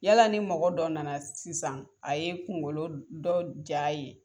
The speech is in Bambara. Yala ni mɔgɔ dɔ na na sisan a ye kungolo dɔ jaa ye.